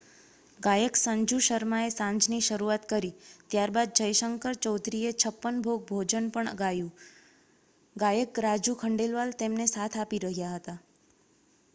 ગાયક સંજુ શર્માએ સાંજની શરૂઆત કરી ત્યારબાદ જયશંકર ચૌધરીએ છપ્પન ભોગ ભજન પણ ગાયું ગાયક રાજુ ખંડેલવાલ તેમને સાથ આપી રહ્યા હતા